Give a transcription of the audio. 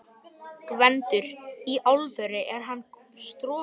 GVENDUR: Í alvöru: Er hann strokinn?